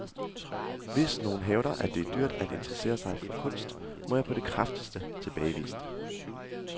Hvis nogle hævder, at det er dyrt at interessere sig for kunst, må jeg på det kraftigste tilbagevise det.